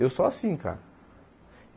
Eu sou assim, cara.